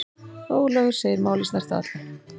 Ólafur segir málið snerta alla.